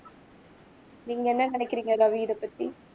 நீங்க என்ன நினைக்குறீங்க ரவி இதப்பத்தி